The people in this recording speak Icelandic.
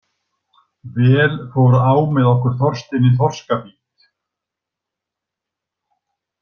Vel fór á með okkur Þorsteini þorskabít.